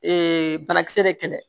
banakisɛ de kɛlɛ